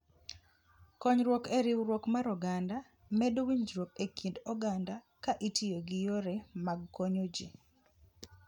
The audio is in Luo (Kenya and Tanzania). Konyruok e Riwruok mar Oganda: Medo winjruok e kind oganda ka itiyo gi yore mag konyo ji.